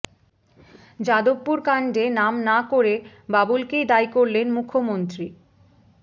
যাদবপুর কাণ্ডে নাম না করে বাবুলকেই দায়ী করলেন মুখ্যমন্ত্রী